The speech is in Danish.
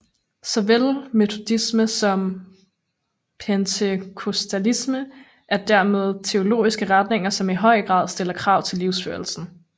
Såvel metodisme som pentekostalisme er dermed teologiske retninger som i høj grad stiller krav til livsførelsen